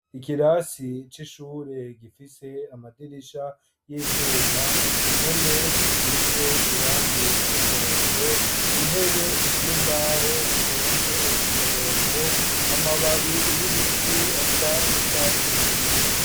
Ikirasi c'ishure gifise amadirisha y'ivyuma impome zisize irange ry'umuhondo intebe z'imbaho zitonze ko umurongo amababi y'ibiti asa n'icatsi kibise.